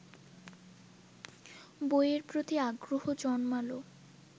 বইয়ের প্রতি আগ্রহ জন্মালো